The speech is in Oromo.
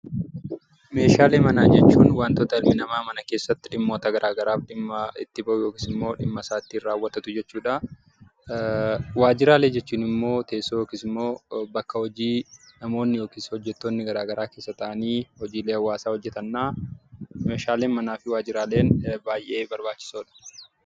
Meeshaalee manaa jechuun wantoota dhalli namaa mana keessatti dhimmoota gara garaaf dhimma itti bahu yookiis immoo dhimma isaa ittiin raawwatatu jechuu dha. Waajjiraalee jechuun immoo teessoo yookiis immoo bakka hojii namoonni yookiis hojjettoonni gara garaa keessa taa'aanii hojiilee hawaasaa hojjetani dha. Meeshaaleen manaa fi waajjiraaleen baay'ee barbaachisoo dha.